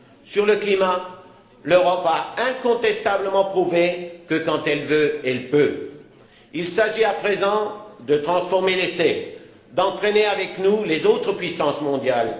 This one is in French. Sur le climat, l'Europe a incontestablement prouvé que quand elle veut, elle peut. Il s'agit à présent de transformer l'essai, d'entraîner avec nous les autres puissances mondiales.